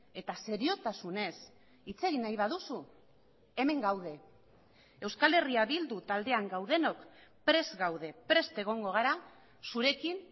eta seriotasunez hitz egin nahi baduzu hemen gaude euskal herria bildu taldean gaudenok prest gaude prest egongo gara zurekin